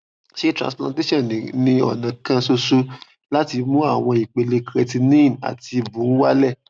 ṣé transplantation ni ọnà kan ṣoṣo láti mú àwọn ìpele creatinine àti bun wálẹ